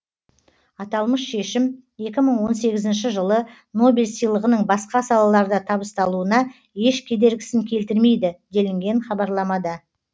аталмыш шешім екі мың он сегізінші жылы нобель сыйлығының басқа салаларда табысталуына еш кедергісін келтірмейді делінген хабарламада